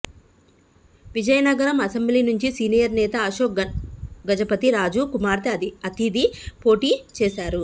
Vizianagaram assembly నుంచి senior నేత అశోక్ గజపతి రాజు కుమార్తె అతిథి పోటీ చేశారు